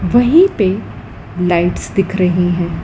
वहीं पे लाइट्स दिख रहीं हैं।